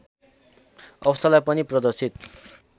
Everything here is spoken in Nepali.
अवस्थालाई पनि प्रदर्शित